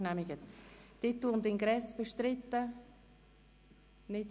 Titel und Ingress Angenommen